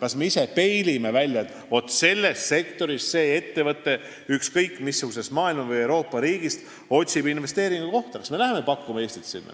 Kas me ise peilime välja, et vaat see ettevõte selles sektoris ükskõik missuguses Euroopa riigis või mujal maailmas otsib investeeringukohta, ja kas me läheme sinna Eestit pakkuma?